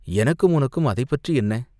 எனக்கும், உனக்கும் அதைப்பற்றி என்ன?